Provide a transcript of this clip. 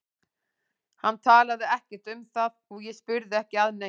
Hann talaði ekkert um það og ég spurði ekki að neinu.